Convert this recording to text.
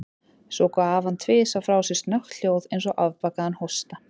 Svo gaf hann tvisvar frá sér snöggt hljóð, eins og afbakaðan hósta.